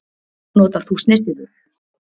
Notar þú snyrtivörur